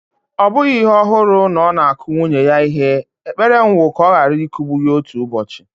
Ọ bụghị ihe ọhụrụ na ọ na-akụ nwunye ya ihe, ekpere m wu ka ọ ghara ịkụgbu ya otu ụbọochị.